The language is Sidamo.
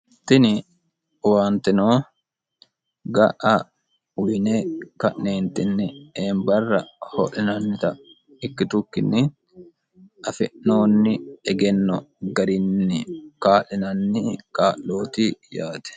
tini owaanteno ga'a uyine ka'neentinni eembarra ho'linannita ikkitukkinni afi'noonni egenno garinni kaa'linanni kaa'looti yaate.